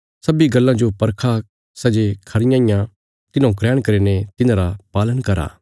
सब्बीं गल्लां जो परखो सै जे खरियां इया तिन्हौं ग्रहण करीने तिन्हांरा पालन करा